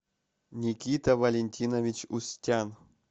никита валентинович устян